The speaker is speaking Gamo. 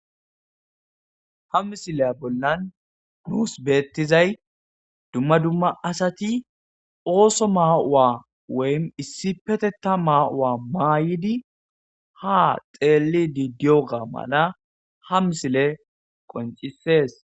Ha misiliya bollan nuus beeththizay dumma dumma asathi ooso maa7uwaa woym issippetheththaa maa7uwaa maayidi haa xeelliiddi diyoogaa mala ha misilee qonccissees.